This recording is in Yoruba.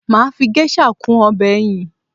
Mà á fi geisha kún ọbẹ̀ ẹyin